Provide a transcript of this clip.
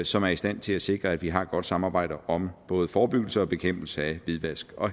som er i stand til at sikre at vi har et godt samarbejde om både forebyggelse og bekæmpelse af hvidvask og